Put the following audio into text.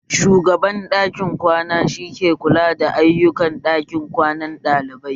Shugaban ɗakin kwana shi ke kula da ayukan ɗakin kwanan ɗalibai